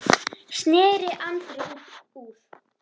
sneri Andri út úr.